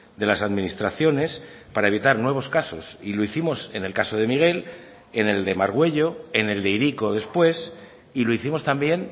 de las administraciones para evitar nuevos casos y lo hicimos en el caso de miguel en el de margüello en el de hiriko después y lo hicimos también